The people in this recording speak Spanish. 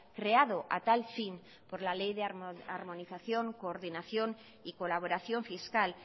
creado a tal fin por la ley de armonización coordinación y colaboración fiscal